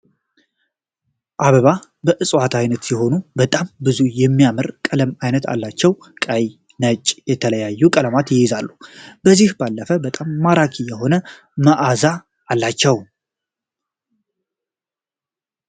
አበባ ከእጽዋት አይነት ሲሆን በጣም ብዙ የሚያምር ቀለም እና አይነት አላቸው። ቀይ፣ ነጭ እና የተለያዩ ቀለማት ይይዛሉ። ከዚህም ባለፈ በጣም ማራኪ የሆነ መአዛ አላቸው።